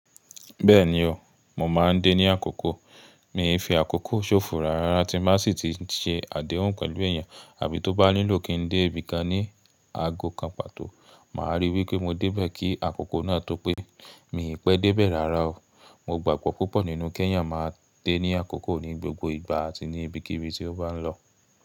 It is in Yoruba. Bẹ́ẹ̀ni o, mo máa ń dé ní àkókó. Mi fi àkókó ṣófò rárá tí máṣì tí í ṣe àdéhùn pẹ̀lú èèyàn, àbí tó bá nílò kí ń dé ibi kan ní aago kan pàtó, màá rí í pé mo dé bẹ́ẹ̀ kí àkókó náà tó pé. Mi ì pẹ́ dé bẹ́ẹ̀ rárá o. Mo gbàgbọ́ púpọ̀ nínú Keyan máa dé ní àkókó ní gbogbo ìgbà àti ní ibikíbi tí ó bá ń lọ.